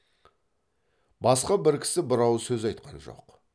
басқа бір кісі бір ауыз сөз айтқан жоқ